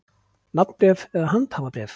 Nafnbréf eða handhafabréf.